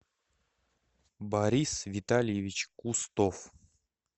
борис витальевич кустов